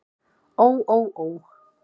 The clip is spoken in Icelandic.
Ó ó ó.